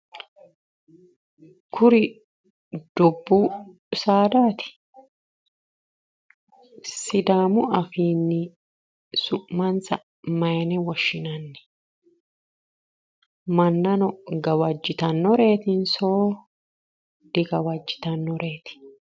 Kuri dubbu saadaati? sidaamu afiinni su'mansa mayiine woshshinanni? Mannono gawajjitannoreetinso digawajjitannoreeti?